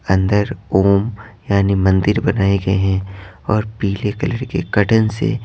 अंदर ओम यानी मंदिर बनाए गए हैं और पीले कलर के कर्टन से।